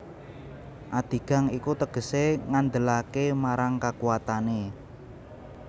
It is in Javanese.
Adigang iku tegesé ngandelaké marang kakuwatané